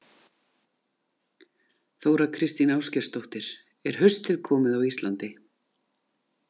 Þóra Kristín Ásgeirsdóttir: Er haustið komið á Íslandi?